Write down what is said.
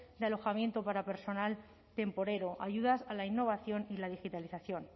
de alojamiento para personal temporero ayudas a la innovación y la digitalización